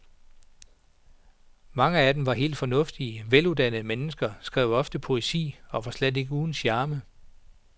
Mange af dem var helt fornuftige, veluddannede mennesker, skrev ofte poesi og var slet ikke uden charme.